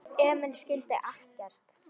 Emil skildi ekkert.